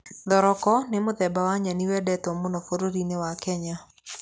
Thoroko nĩ mũthemba wa nyeni wendetwo mũno bũrũri-inĩ wa Kenya.